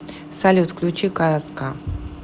салют включи казка